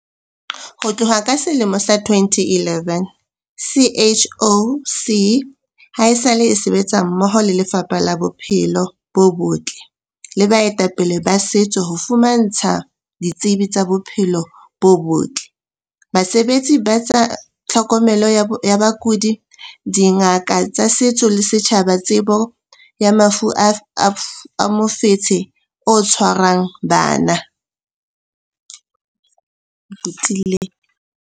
Ho tloha ka selemo sa 2011, CHOC haesale e sebetsa mmoho le Lefapha la Bo-phelo bo Botle le baetapele ba setso ho fumantsha ditsebi tsa bophelo bo botle, basebetsi ba tsa tlhokomelo ya bakudi, dingaka tsa setso le setjhaba tsebo ya mafu a mofetshe o tshwarang bana.